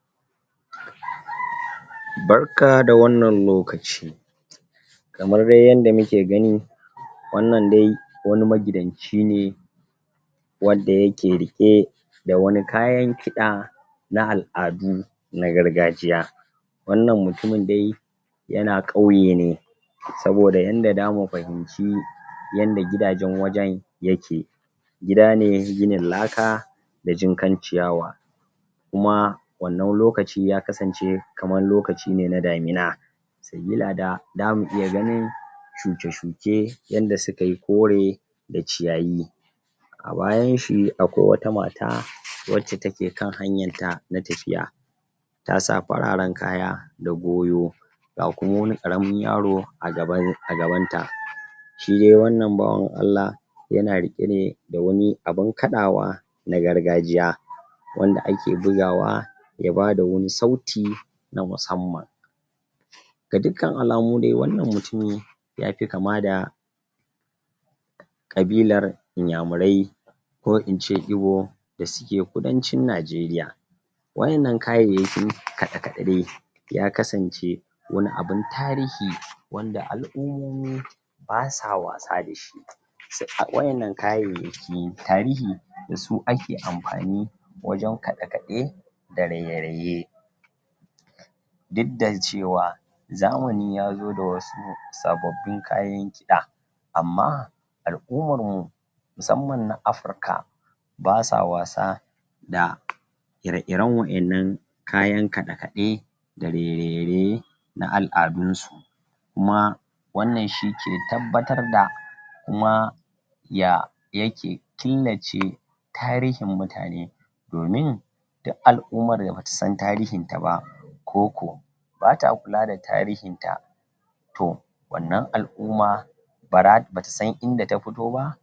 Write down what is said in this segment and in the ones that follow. ? Barka da wannan lokaci kamar dai yadda muke gani wannan dai wani magidanci ne wanda yake riƙe da wani kayan kiɗa na al'adu na gargajiya wannan mutumin dai yana ƙauye ne saboda yanda damu fahimci yanda gidajen wajen yake gidane ginin laka da jinkan ciyawa kuma wannan lokaci ya kasance kaman lokacine na damina sabila da damu iya ganin shuke-shuke, yanda sukayi kore da ciyayi a bayanshi akwai wata mata, wacce take kan hanyarta na tafiya ta sa fararen kaya da goyo ga kuma wani ƙaramin yaro a gaban,a gabanta shi dai wannan bawan Allah yana riƙe ne da wani abin kaɗawa na gargajiya wanda ake bugawa ya bada wani sauti na musamman ga dukkan alamu de wannan mutumi yafi kama da ƙabilar inyamurai ko ince Ibo da suke kudancin Najeriya waƴannan kayayyakin kaɗe-kaɗe dai ya kasance wani abin tarihi, wanda al'umomin basa wasa dashi? waƴannan kayayyakin tarihi dasu ake amfani wajen kaɗe-kaɗe da raye-raye duk da cewa zamani yazo da wasu sababbin kayan kiɗa amma al'umarmu musamman na Afrika basa wasa da ire-iren waƴannan kayan kaɗe-kaɗe da rai raye raye na al'adunsu kuma wannan shike tabbatar da kuma ya yake killace tarihin mutane domin du al'umar da batasan tarihin ta ba ko ko bata kula da tarihin ta to wannan al'uma bara, batasan inda ta fito ba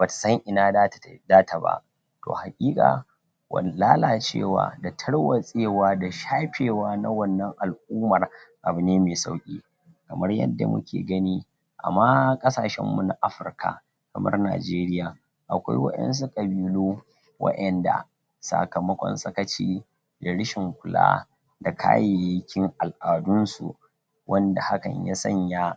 batasan ina data ta data ba to haƙiƙa wani lalacewa, da tarwatsewa, da shafewa na wannan al'umar abune me sauƙi kamar yadda muke gani ama ƙasashen mu na Afrika kamar Najeriya akwai waƴansu ƙabilu waƴanda sakamakon sakaci da rishin kula da kayayyakin al'adunsu wanda hakan ya sanya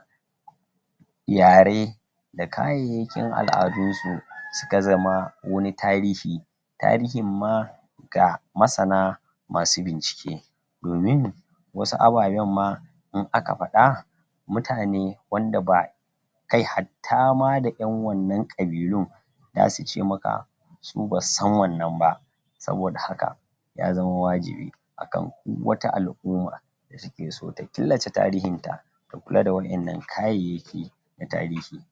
yare da kayayyakin al'adunsu suka zama wani tarihi tarihin ma ga masana masu bincike domin wasu abayen ma in aka faɗa mutane, wanda ba kai hattama da ƴan wannan ƙabilun dasuce maka su basu san wannan ba saboda haka ya zama wajibi, akan du wata al'uma da take so ta killace tarihin ta ta kula da waƴannan kayayyaki na tarihi